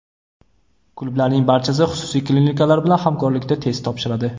Klublarning barchasi xususiy klinikalar bilan hamkorlikda test topshiradi.